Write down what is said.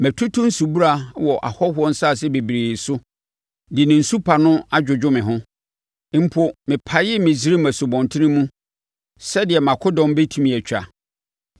Matutu nsubura wɔ ahɔhoɔ nsase bebree so de ne nsu pa no adwodwo me ho. Mpo, mepaee Misraim nsubɔntene mu sɛdeɛ mʼakodɔm bɛtumi atwa!’